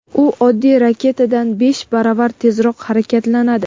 U oddiy raketadan besh baravar tezroq harakatlanadi.